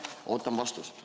Ootan vastust.